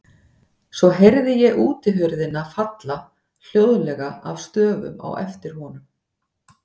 Svo heyrði ég útihurðina falla hljóðlega að stöfum á eftir honum.